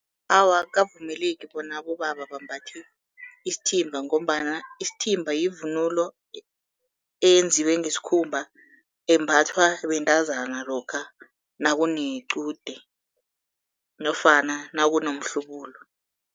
Awa, akukavumeleki bona abobaba bambathe isithimba ngombana isithimba yivunulo eyenziwe ngesikhumba, embathwa bentazana lokha nakunequde nofana nakunomhlubulo.